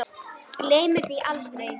Gleymir því aldrei.